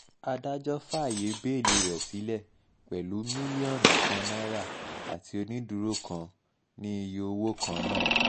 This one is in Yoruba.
adájọ́ fàáyé bẹ́ẹ́lí rẹ̀ sílẹ̀ pẹ̀lú mílíọ̀nù kan náírà àti onídùúró kan ní iye owó kan náà